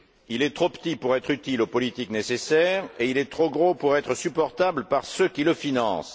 Il est trop petit pour être utile aux politiques nécessaires et il est très gros pour être supportable par ceux qui le financent.